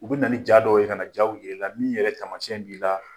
U bɛ na ni ja dɔw ye ka na jaw jir'ila min yɛrɛ tamasiyɛn b'i la